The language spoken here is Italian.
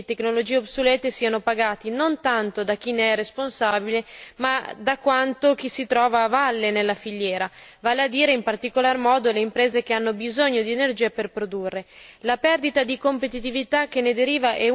Non è possibile che i costi di reti efficienti e di tecnologie obsolete siano pagati non tanto da chi ne è responsabile ma piuttosto da chi si trova a valle della filiera, vale a dire, in particolar modo, dalle imprese che hanno bisogno di energia per produrre.